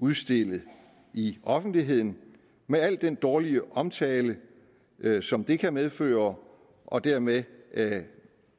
udstillet i offentligheden med al den dårlige omtale som det kan medføre og dermed